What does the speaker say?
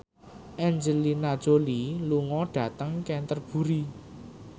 Angelina Jolie lunga dhateng Canterbury